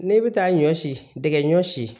Ne bɛ taa ɲɔ si dɛgɛ ɲɔ si